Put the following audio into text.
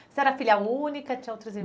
Você era filha única, tinha outros